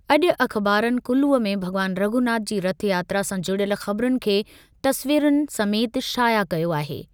अॼु अख़बारनि कुल्लूअ में भॻवान रघुनाथ जी रथयात्रा सां जुड़ियल ख़बरुनि खे तस्वीरुनि समेति शाया कयो आहे।